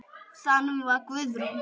Og þannig var Guðrún.